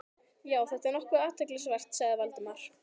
Já, þetta er nokkuð athyglisvert sagði Valdimar.